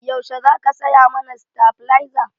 Yaushe za ka saya mana stabilaza?